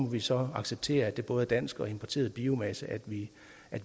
vi så acceptere at det både er dansk og importeret biomasse vi